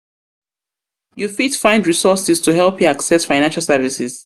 fit find resources to help you access financial services.